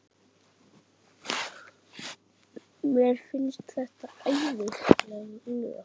Mér finnst þetta æðisleg lög.